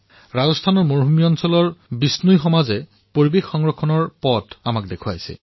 ৰাজস্থানৰ দৰে মৰুভূমিত বিষ্ণই সমাজে পৰিবেশ সংৰক্ষণৰ পথ আমাক দেখুৱাইছে